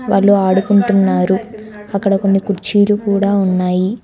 వాళ్లు ఆడుకుంటున్నారు అక్కడ కొన్ని కుర్చీలు కూడా ఉన్నాయి.